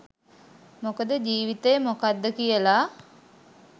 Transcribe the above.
මොකද ජීවිතය මොකක්ද කියලා